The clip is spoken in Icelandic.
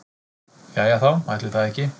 Jæja þá, ætli það ekki.